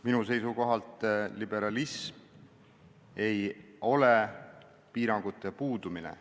Minu seisukohalt ei ole liberalism piirangute puudumine.